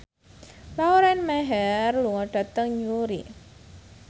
Lauren Maher lunga dhateng Newry